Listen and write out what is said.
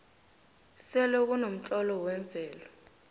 selekunomtlolo wemvelo